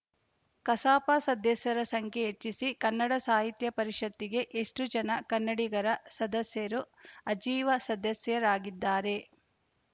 ಕಸಾಪ ಸದಸ್ಯರ ಸಂಖ್ಯೆ ಹೆಚ್ಚಿಸಿ ಕನ್ನಡ ಸಾಹಿತ್ಯ ಪರಿಷತ್ತಿಗೆ ಎಷ್ಟುಜನ ಕನ್ನಡಿಗರ ಸದಸ್ಯರು ಆಜೀವ ಸದಸ್ಯರಾಗಿದ್ದಾರೆ